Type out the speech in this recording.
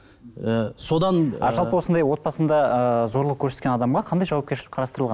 ы содан осындай отбасында ыыы зорлық көрсеткен адамға қандай жауапкершілік қарастырылған